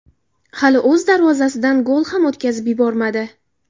Hali o‘z darvozasidan gol ham o‘tkazib yubormadi.